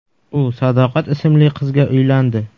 U Sadoqat ismli qizga uylandi.